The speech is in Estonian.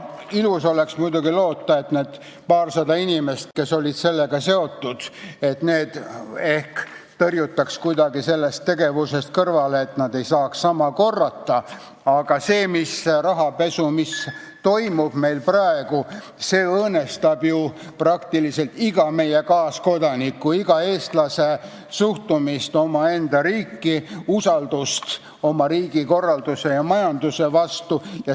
Ilus oleks muidugi loota, et need paarsada inimest, kes olid sellega seotud, tõrjutakse kuidagi sellest tegevusest kõrvale, et nad ei saaks sama korrata, aga see rahapesu, mis meil praegu toimub, õõnestab ju peaaegu iga meie kaaskodaniku, iga eestlase suhtumist omaenda riiki, usaldust oma riigi korralduse ja majanduse vastu.